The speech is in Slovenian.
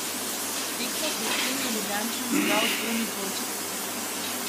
Tekmo pred tem je Ljubljančan zbral dvojni dvojček.